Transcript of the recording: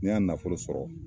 N y'a nafolo sɔrɔ